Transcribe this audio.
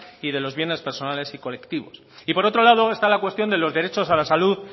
y de los bienes personales y colectivos y por otro lado está la cuestión de los derechos a la salud